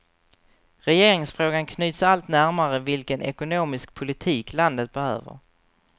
Regeringsfrågan knyts allt närmare vilken ekonomisk politik landet behöver.